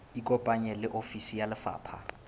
ikopanye le ofisi ya lefapha